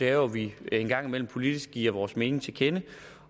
er jo at vi engang imellem politisk giver vores mening til kende